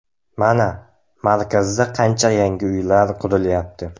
Mana, markazda qancha yangi uylar qurilyapti.